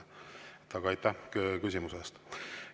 Aga aitäh küsimuse eest!